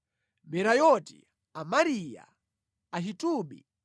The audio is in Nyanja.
Merayoti, Amariya, Ahitubi,